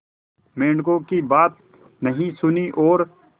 मेंढकों की बात नहीं सुनी और